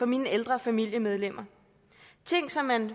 mine ældre familiemedlemmer ting som man